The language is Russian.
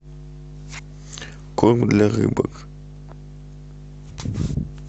корм для рыбок